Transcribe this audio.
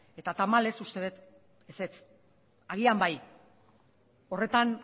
eta tamalez uste dut ezetz agian bai horretan